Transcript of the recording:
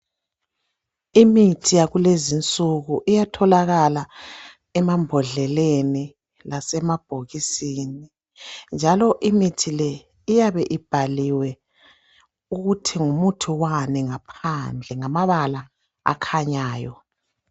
Imithi yakulezi insuku iyatholakala emambodleleni lasemabhokisini njalo imithi le iyabe ibhaliwe ukuthi ngumuthi wani ngaphandle ngamabala akhanyayo.